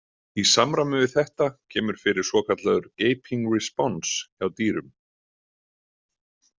Í samræmi við þetta kemur fyrir svokallaður „gaping response“ hjá dýrum.